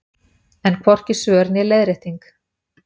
Enn hvorki svör né leiðrétting